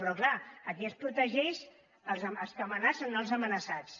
però clar aquí es protegeix els que amenacen no els amenaçats